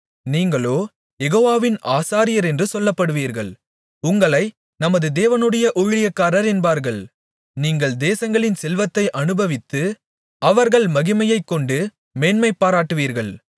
நீங்களோ யெகோவாவின் ஆசாரியரென்று சொல்லப்படுவீர்கள் உங்களை நமது தேவனுடைய ஊழியக்காரர் என்பார்கள் நீங்கள் தேசங்களின் செல்வத்தை அநுபவித்து அவர்கள் மகிமையைக் கொண்டு மேன்மைபாராட்டுவீர்கள்